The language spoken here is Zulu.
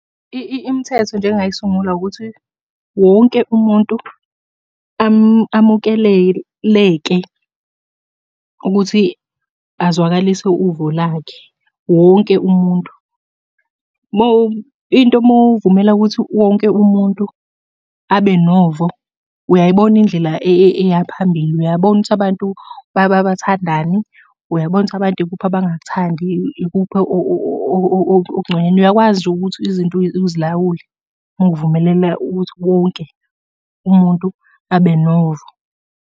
Imithetho nje engingayisungula ukuthi, wonke umuntu amukeleleke ukuthi azwakalise uvo lakhe, wonke umuntu. Into uma uvumela ukuthi wonke umuntu abe novo, uyayibona indlela eya phambili, uyabona ukuthi abantu bathandani. Uyabona ukuthi abantu ikuphi abangakuthandi, ikuphi okungconywana. Uyakwazi nje ukuthi izinto uzilawule, ngokuvumelela ukuthi wonke umuntu abe novo.